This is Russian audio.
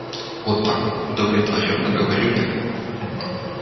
вот так удовлетворённо говорю я